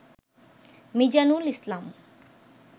Mizanul Islam